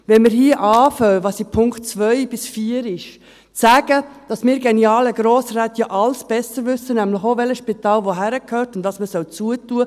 Wenn wir hier zu sagen beginnen, so wie es in den Punkten 2 bis 4 ist, dass wir genialen Grossräte ja alles besser wissen, nämlich auch, welches Spital wohin gehört und was man schliessen soll ...